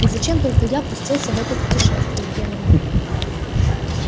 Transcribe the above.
и зачем только я пустился в это путешествие генри